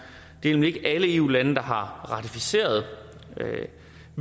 det er nemlig ikke alle eu lande der har ratificeret